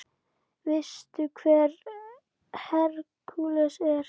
Veistu hver Hercules er?